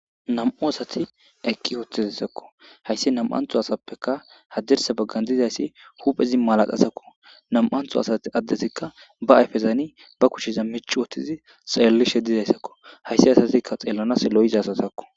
Nam'u asati eqiwotidaysakko haysi nam'anto asappekka hadirsa bagan dizaysi huphezi maladhazakko nam'anto adezika ba ayfezan ba kushezan mic'i wothizi xelishe dizeysako haysi asazikka xelanas lo'iza asazakko.